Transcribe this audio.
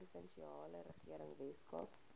provinsiale regering weskaap